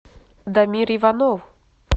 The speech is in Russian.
дамир иванов